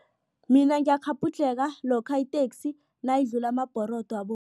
Mina ngiyakghabhudlheka lokha iteksi nayidlula amabhorodo